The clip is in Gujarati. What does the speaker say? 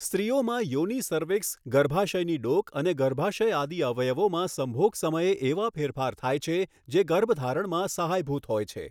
સ્ત્રીઓમાં યોનિ સર્વીક્સ ગર્ભાશયની ડોક અને ગર્ભાશય આદિની અવયોવામાં સંભોગ સમયે એવા ફેરફાર થાય છે જે ગર્ભધારણમાં સહાયભૂત હોય છે.